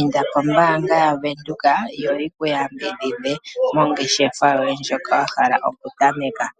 Inda kombaanga yaVenduka otaye ku yambidhidha nongeshefa ndjoka wa hala okutameka